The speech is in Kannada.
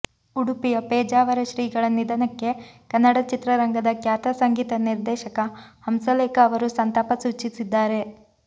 ಉಡುಪಿಯ ಪೇಜಾವರ ಶ್ರೀಗಳ ನಿಧನಕ್ಕೆ ಕನ್ನಡ ಚಿತ್ರರಂಗದ ಖ್ಯಾತ ಸಂಗೀತ ನಿರ್ದೇಶಕ ಹಂಸಲೇಖ ಅವರು ಸಂತಾಪ ಸೂಚಿಸಿದ್ದಾರೆ